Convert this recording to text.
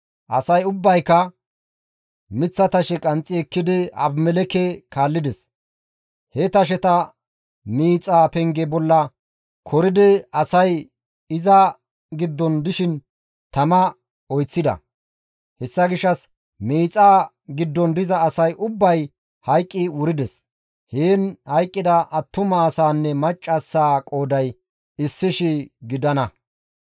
Asay ubbayka miththa tashe qanxxi ekkidi Abimelekke kaallides; he tasheta miixa penge bolla koridi asay iza giddon dishin tama oyththida; hessa gishshas miixaa giddon diza asay ubbay hayqqi wurides; heen hayqqida attuma asaanne maccassaa qooday 1,000 gidana.